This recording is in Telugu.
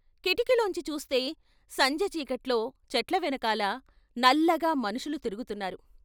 కిటికీలోంచి చూస్తే సంజె చీకట్లో చెట్ల వెనకాల నల్లగా మనుషులు తిరుగు తున్నారు.